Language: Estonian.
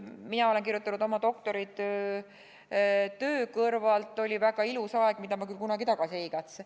Mina olen kirjutanud oma doktoritöö töö kõrvalt, oli väga ilus aeg, mida ma küll kunagi tagasi ei igatse.